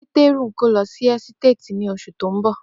Peteru lọ n gbe si ohun-ini ni oṣu ti n bọ.